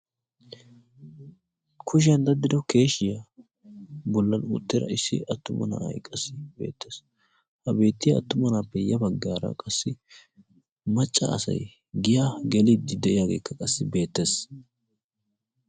kushiyan daddido keeshiyaa bollali uttira issi attuma na'ay qassi beettees ha beettiya attuma naappe ya baggaara qassi macca asay giya geliiddi de'iyaageekka qassi beettees